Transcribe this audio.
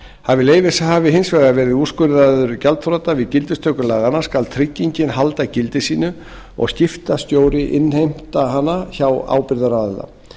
hafi leyfishafi hins vegar verið úrskurðaður gjaldþrota við gildistöku laganna skal tryggingin halda gildi sínu og skiptastjóri innheimta hana hjá ábyrgðaraðila